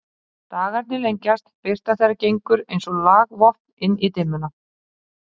Dagarnir lengjast, birta þeirra gengur eins og lagvopn inn í dimmuna.